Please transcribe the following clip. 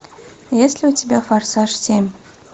есть ли у тебя форсаж семь